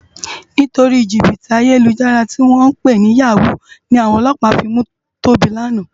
Nitóri jibiti àyélújàrá tiwòn pé ni yáwú ni áwòn òlòpá fi mú Toba làná